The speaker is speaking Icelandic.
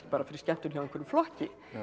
fyrir skemmtun hjá einhverjum flokki